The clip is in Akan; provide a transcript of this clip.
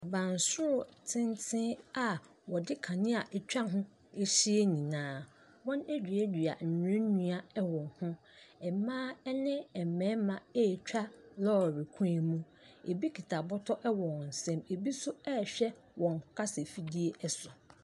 Abansoro tenten a wɔde kanea atwa ho ahyia nyinaa. Wɔaduadua nnuannua wɔ ho. Mmaa ne mmarima retwa lɔre kwan mu. Ebi kita bɔtɔ wɔ wɔn nsa =m, ebi nso rehwɛ wɔn kasafidie so.